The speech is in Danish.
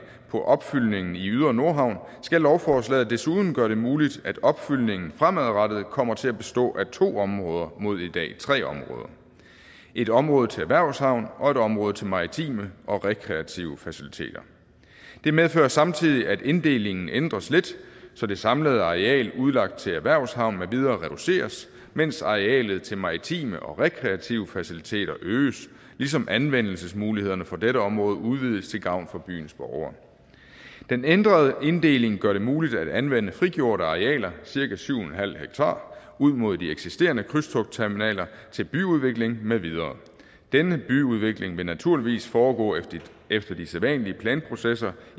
på opfyldningen i ydre nordhavn skal lovforslaget desuden gøre det muligt at opfyldningen fremadrettet kommer til at bestå af to områder mod i dag tre områder et område til erhvervshavn og et område til maritime og rekreative faciliteter det medfører samtidig at inddelingen ændres lidt så det samlede areal udlagt til erhvervshavn med videre reduceres mens arealet til maritime og rekreative faciliteter øges ligesom anvendelsesmulighederne for dette område udvides til gavn for byens borgere den ændrede inddeling gør det muligt at anvende frigjorte arealer cirka syv en halv ha ud mod de eksisterende krydstogtterminaler til byudvikling med videre denne byudvikling vil naturligvis foregå efter de sædvanlige planprocesser